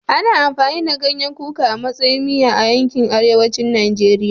Ana amfani da ganyen kuka a matsayin miya a yankin arewacin Najeriya